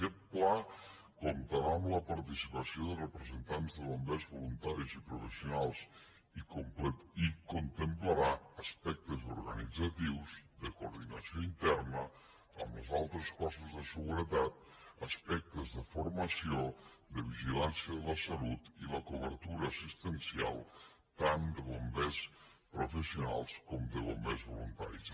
aquest pla comptarà amb la participació de representants de bombers voluntaris i professionals i contemplarà aspectes organitzatius de coordinació interna amb els altres cossos de seguretat aspectes de formació de vigilància de la salut i la cobertura assistencial tant de bombers professionals com de bombers voluntaris